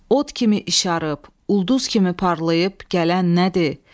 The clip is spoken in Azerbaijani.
Od kimi işarıb, ulduz kimi parlayıb gələn nədir?